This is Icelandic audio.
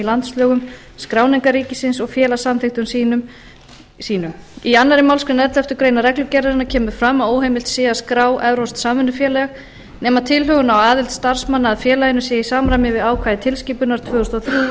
landslögum skráningarríkisins og félagssamþykktum sínum í annarri málsgrein elleftu grein reglugerðarinnar kemur fram að óheimilt sé að skrá evrópskt samvinnufélag nema tilhögun á aðild starfsmanna að félaginu sé í samræmi við ákvæði tilskipunar tvö þúsund og þrjú sjötíu